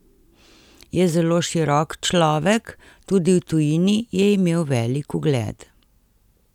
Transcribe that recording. Je zelo širok človek, tudi v tujini je imel velik ugled.